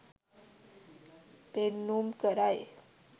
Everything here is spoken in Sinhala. පෙන්නුම් කරයි